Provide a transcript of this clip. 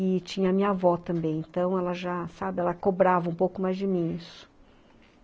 E tinha minha avó também, então ela já, sabe, ela cobrava um pouco mais de mim, isso.